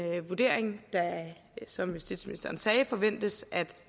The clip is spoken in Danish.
vurdering der som justitsministeren sagde forventes at